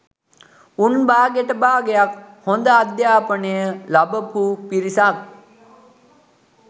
උන් බාගෙට බාගයක් හොඳ අධ්‍යාපනය ලබපු පිරිසක්